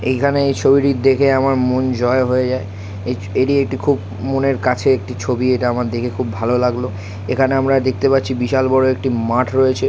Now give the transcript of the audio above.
এই খানে এই ছবিটি দেখে আমার মন জয় হয়ে যায় এটি একটি খুব মনের কাছের একটি ছবি এটা আমার দেখে খুব ভালো লাগল। এইখানে দেখতে পারছি বিশাল বড়ো মাঠ রয়েছে।